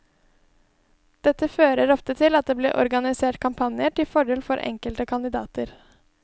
Dette fører ofte til at det blir organisert kampanjer til fordel for enkelte kandidater.